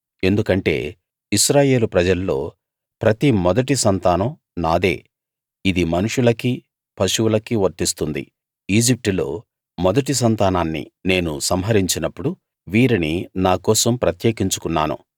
ఎందుకంటే ఇశ్రాయేలు ప్రజల్లో ప్రతి మొదటి సంతానం నాదే ఇది మనుషులకీ పశువులకీ వర్తిస్తుంది ఈజిప్టులో మొదటి సంతానాన్ని నేను సంహరించినప్పుడు వీరిని నాకోసం ప్రత్యేకించుకున్నాను